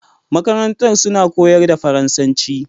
Makarantar suna koyar da faransan ci